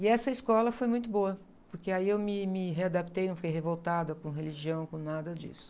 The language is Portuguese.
E essa escola foi muito boa, porque aí eu me, me readaptei, não fiquei revoltada com religião, com nada disso.